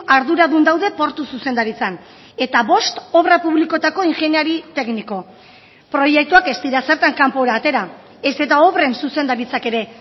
arduradun daude portu zuzendaritzan eta bost obra publikoetako ingeniari tekniko proiektuak ez dira zertan kanpora atera ez eta obren zuzendaritzak ere